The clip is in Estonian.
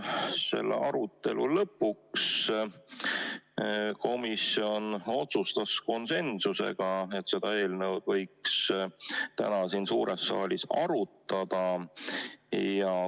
Selle arutelu lõpus otsustas komisjon konsensusega, et seda eelnõu võiks täna siin suures saalis arutada.